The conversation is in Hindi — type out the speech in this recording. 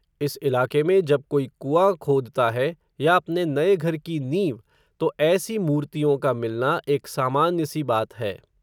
उस इलाके में जब कोई कुँआं खोदता है, या अपने नये घर की नींव, तो ऐसी मूर्तियों का मिलना, एक सामान्य सी बात है